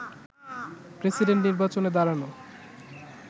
president নির্বাচনে দাঁড়ানো